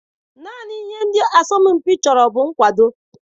Naanị ihe ndị asọmpi chọrọ bụ nkwado.